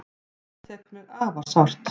Þetta tekur mig afar sárt.